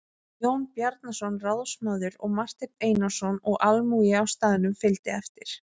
Jón Bjarnason ráðsmaður og Marteinn Einarsson og almúgi á staðnum fylgdi á eftir.